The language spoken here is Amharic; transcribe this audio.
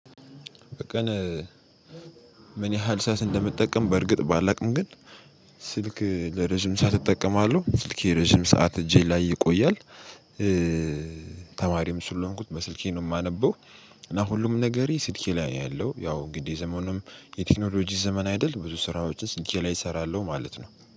በቀን ምን ያህል ሰዓት እንደምጠቀም በርግጥ ባላውቅም ግን ስልክ ለረጅም ሰዓት እጠቀማለሁ ስልኬ ረጅም ሰዓት እጄ ላይ ይቆያል። ተማሪም ስለሆንኩኝ በስልኬ ነው የማነበው። እና ሁሉም ነገሬ ስልኬ ላይ ነው ያለው። ያው እንግዲህ ዘመኑም የቴክኖሎጂ ዘመን አይደል? ብዙ ስራዎችን ስልኬ ላይ እሰራለሁ ማለት ነው